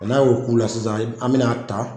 N'a y'o k'u la sisan an bɛn'a ta